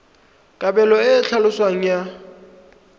kabelo e e tlhaloswang ya